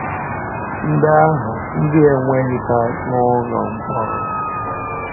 Ndị ahụ ndị e nweghịta n’ụlọ mkpọrọ